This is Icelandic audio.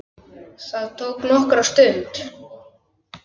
Það tók nokkra stund.